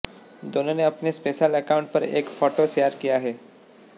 दोनों ने अपने सोशल एकाउंट पर एक फोटो शेयर किया है